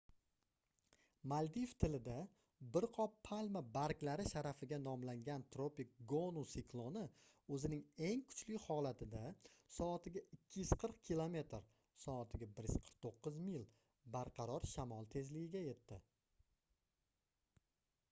maldiv tilida bir qop palma barglari sharafiga nomlangan tropik gonu sikloni o'zining eng kuchli holatida soatiga 240 kilometr soatiga 149 mil barqaror shamol tezligiga yetdi